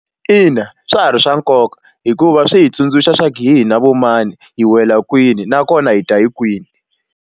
Ina, swa ha ri swa nkoka hikuva swi hi tsundzuxa swa ku hi na vo mani hi wela kwini nakona hi ta hi kwini.